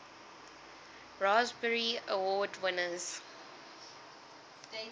raspberry award winners